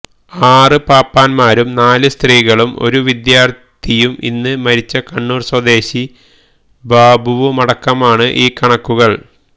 ആറ് പാപ്പാൻമാരും നാല് സ്ത്രീകളും ഒരു വിദ്യാർത്ഥിയും ഇന്ന് മരിച്ച കണ്ണൂർ സ്വദേശി ബാബുവുമടക്കമാണ് ഈ കണക്കുകൾ